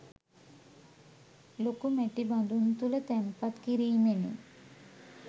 ලොකු මැටි බඳුන් තුළ තැන්පත් කිරීමෙනි.